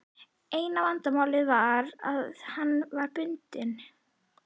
Eina vandamálið var að hann var bundinn.